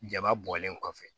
Jaba bɔlen kɔfɛ